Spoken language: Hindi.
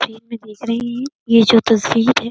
में देख रहे हैं। ये जो तस्वीर है।